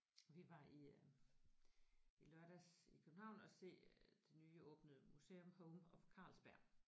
Vi var i øh i lørdags i København og se det nye åbnede museum Home of Carlsberg